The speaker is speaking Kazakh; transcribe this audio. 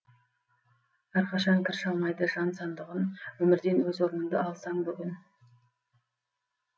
әрқашан кір шалмайды жан сандығын өмірден өз орныңды алсаң бүгін